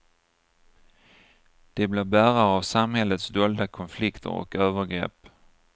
De blir bärare av samhällets dolda konflikter och övergrepp.